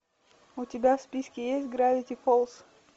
у тебя в списке есть гравити фолз